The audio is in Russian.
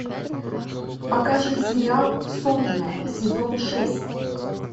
покажи сериал сотня сезон шесть